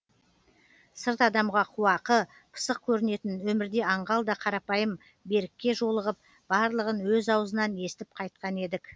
сырт адамға қуақы пысық көрінетін өмірде аңғал да қарапайым берікке жолыығып барлығын өз аузынан естіп қайтқан едік